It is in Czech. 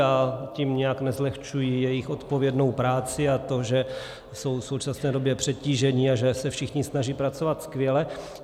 Já tím nijak nezlehčuji jejich odpovědnou práci a to, že jsou v současné době přetíženi a že se všichni snaží pracovat skvěle.